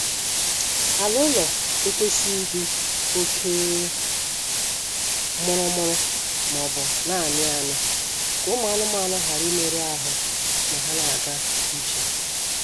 Ala ụlọ ekwesịghị ịdị oke mụrụmụrụ maọbụ na-amị amị ka ụmụ anụmaanụ ghara imerụ ahụ ma ha na-ga ije